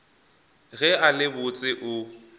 ge a le botse o